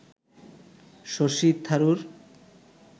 Shashi Tharoor